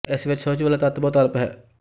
ਇਸ ਵਿੱਚ ਸੁਹਜ ਵਾਲਾ ਤੱਤ ਬਹੁਤ ਅਲਪ ਹੈ